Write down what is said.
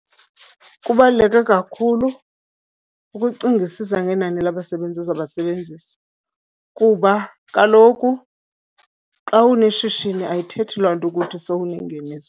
Kubaluleke kakhulu ukucingisisa ngenani labasebenzi ozabasebenzisa kuba kaloku xa uneshishini ayithethi loo nto ukuthi sowunengeniso.